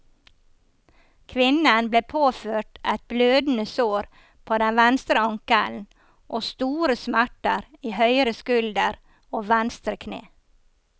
Kvinnen ble påført et blødende sår på den venstre ankelen og store smerter i høyre skulder og venstre kne.